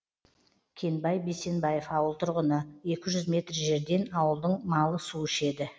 кенбай бейсенбаев ауыл тұрғыны екі жүз метр жерден ауылдың малы су ішеді